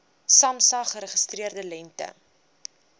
samsa geregistreerde lengte